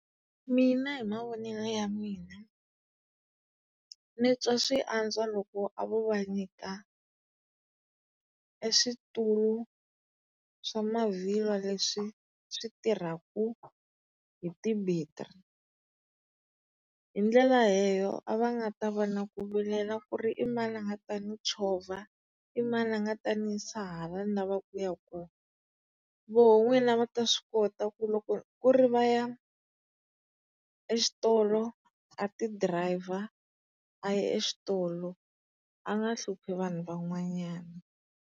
Mina hi mavonele ya mina, ni twa swi antswa loko a vo va nyika e switulu swa mavhilwa leswi switirhaku hi ti-bettery. Hi ndlela leyo a va nga ta va na ku vilela ku ri i mani a nga ta ni chovha, i mani a nga ta ni yisa hala ni lavaka kuya kona. Voho n'wini a va ta swi kota ku loko ku ri vaya eswitolo a ti driver a ya eswitolo a nga hluphi vanhu van'wanyana.